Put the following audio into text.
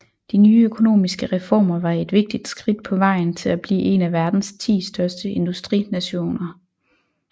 De nye økonomiske reformer var et vigtigt skridt på vejen til at blive en af verdens ti største industrinationer